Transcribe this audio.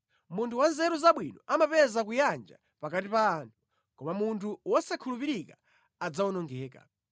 Munthu wa nzeru zabwino amapeza kuyanja pakati pa anthu, koma munthu wosakhulupirika adzawonongeka.